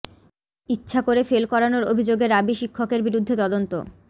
ইচ্ছা করে ফেল করানোর অভিযোগে রাবি শিক্ষকের বিরুদ্ধে তদন্ত